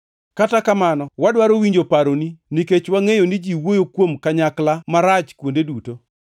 Kata kamano, wadwaro winjo paroni, nikech wangʼeyo ni ji wuoyo kuom kanyakla marach kuonde duto.”